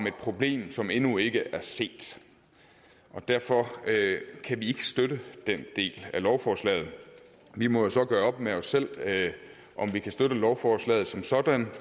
et problem som endnu ikke er set derfor kan vi ikke støtte den del af lovforslaget vi må jo så gøre op med os selv om vi kan støtte lovforslaget som sådan